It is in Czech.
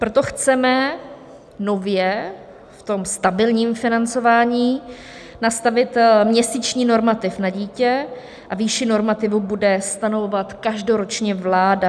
Proto chceme nově v tom stabilním financování nastavit měsíční normativ na dítě a výši normativu bude stanovovat každoročně vláda.